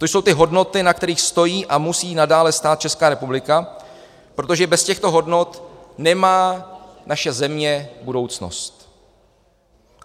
To jsou ty hodnoty, na kterých stojí a musí nadále stát Česká republika, protože bez těchto hodnot nemá naše země budoucnost.